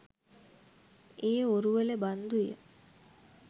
ඒ ඔරුවල බන්දු ය.